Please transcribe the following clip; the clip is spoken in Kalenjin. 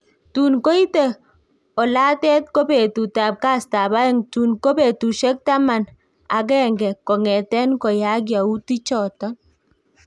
Tun koite olatet ko petut ab kastap aeng', tun ko petusiek tamanak agenge kong'ten koyaak yautik choton